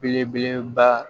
Belebeleba